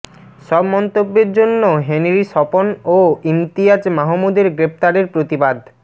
সব মন্তব্যের জন্য হেনরী স্বপন ও ইমতিয়াজ মাহমুদের গ্রেপ্তারের প্রতিবাদ